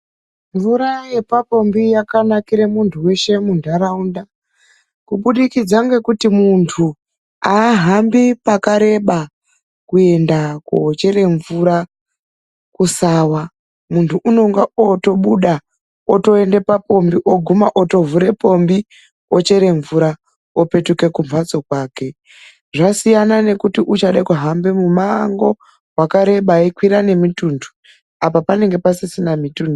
Mvura yepapombi yakanakira muntu weshe mundaraunda kubudikidza ngekuti, muntu ahambi pakareba kuenda kochera mvura kusawa. Muntu unonga otobuda otoenda papombi otoguma otovhura pombi ochera mvura, opetuka kumhatso kwake. Zvasiyana nekuti uchada kuhamba mumango wakareba eyikwira nemitundu apa panenge pasisina mitundu.